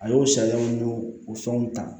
A y'o sariyaw n y'o o fɛnw ta